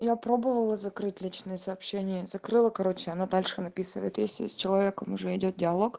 я пробовала закрыть личные сообщения закрыла короче она дальше написывает если с человеком уже идёт диалог